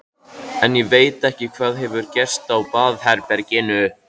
En ég veit ekki hvað hefur gerst á baðherberginu.